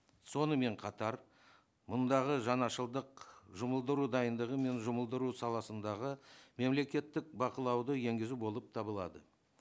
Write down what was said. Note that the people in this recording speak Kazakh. сонымен қатар мұндағы жаңашылдық жұмылдыру дайындығы мен жұмылдыру саласындағы мемлекеттік бақылауды енгізу болып табылады